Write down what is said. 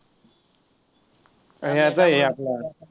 ह्याचा आहे आपला